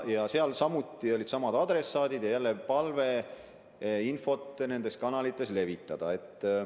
Adressaadid olid samad ja jälle oli palve infot nendes kanalites levitada.